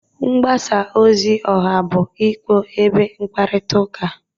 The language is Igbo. Mgbasa ozi ọha bụ ikpo ebe mkparita uka.